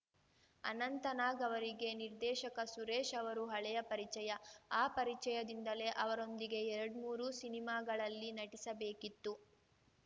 ಅನಂತನಾಗ್‌ ಅವರಿಗೆ ನಿರ್ದೇಶಕ ಸುರೇಶ್‌ ಅವರು ಹಳೆಯ ಪರಿಚಯ ಆ ಪರಿಚಯದಿಂದಲೇ ಅವರೊಂದಿಗೆ ಎರಡ್ಮೂರು ಸಿನಿಮಾಗಳಲ್ಲಿ ನಟಿಸಬೇಕಿತ್ತು